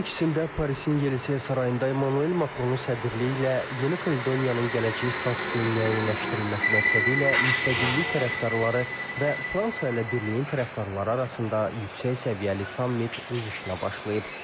2022-ci ilin ikisində Parisin Yelisey sarayında Emmanuel Makronun sədrliyi ilə Yeni Kaledoniyanın gələcəyi statusunun müəyyənləşdirilməsi məqsədilə müstəqillik tərəfdarları və Fransa ilə birliyin tərəfdarları arasında yüksək səviyyəli sammit öz işinə başlayıb.